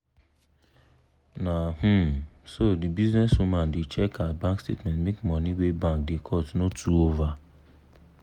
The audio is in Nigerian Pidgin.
na um so the business woman da check her bank statement make money wey bank da cut no too over